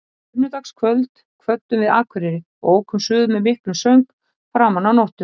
Á sunnudagskvöld kvöddum við Akureyri og ókum suður með miklum söng framan af nóttu.